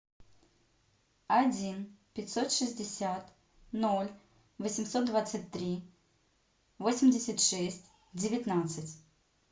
один пятьсот шестьдесят ноль восемьсот двадцать три восемьдесят шесть девятнадцать